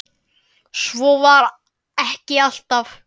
Svo var ekki alltaf.